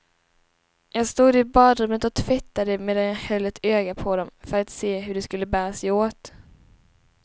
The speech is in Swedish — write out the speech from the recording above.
Jag stod i badrummet och tvättade medan jag höll ett öga på dom, för att se hur de skulle bära sig åt.